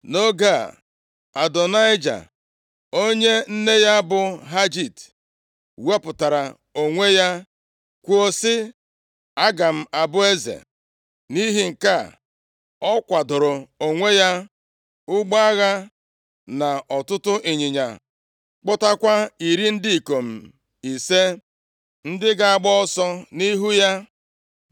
Nʼoge a, Adonaịja + 1:5 Adonaịja, bụ nwa nke anọ a mụrụ Devid. Ọkpara ya bụ Amọn, Kiliab na Absalọm nwụrụ anwụ, ma Kiliab nwụrụ nʼoge ọ bụ nwantakịrị. \+xt 2Sa 3:4\+xt* onye nne ya bụ Hagit, wepụtara onwe ya, kwuo sị, “Aga m abụ eze.” Nʼihi nke a, ọ kwadooro onwe ya ụgbọ agha na ọtụtụ ịnyịnya, kpọtakwa iri ndị ikom ise, ndị ga-agba ọsọ nʼihu ya.